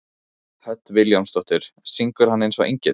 Hödd Vilhjálmsdóttir: Syngur hann eins og engill?